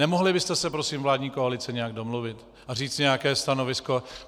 Nemohli byste se prosím, vládní koalice, nějak domluvit a říct nějaké stanovisko?